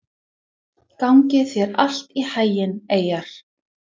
Gangi þér allt í haginn, Eyjar.